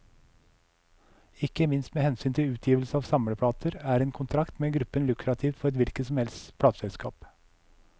Ikke minst med hensyn til utgivelse av samleplater, er en kontrakt med gruppen lukrativt for et hvilket som helst plateselskap.